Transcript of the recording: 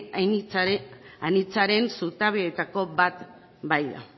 anitzaren zutabeetako bat baita